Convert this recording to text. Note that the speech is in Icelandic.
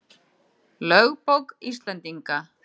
Lögbók Íslendinga.